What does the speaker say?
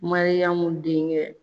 Mariyamu denkɛ